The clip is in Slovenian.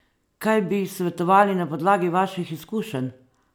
Kaj bi ji svetovali na podlagi vaših izkušenj?